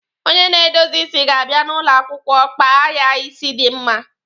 Onye na-edozi isi ga-abia n'ụlọ akwụkwọ kpa ya isi dị mma